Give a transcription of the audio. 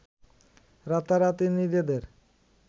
রাতারাতি নিজেদের